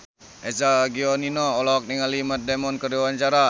Eza Gionino olohok ningali Matt Damon keur diwawancara